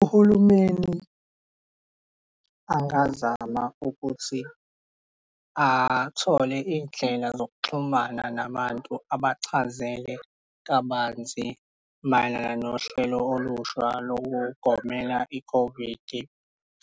Uhulumeni angazama ukuthi athole iy'ndlela zokuxhumana nabantu abachazele kabanzi mayelana nohlelo olusha lokugomela i-COVID-i